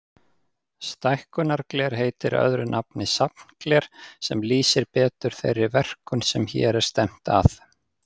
Stækkunargler heitir öðru nafni safngler, sem lýsir betur þeirri verkun sem hér er stefnt að.